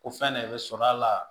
O fɛn de bɛ sɔrɔ a la